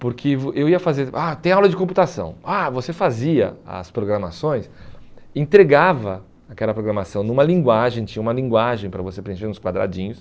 Porque vo eu ia fazer, tem aula de computação, você fazia as programações, entregava aquela programação numa linguagem, tinha uma linguagem para você preencher nos quadradinhos.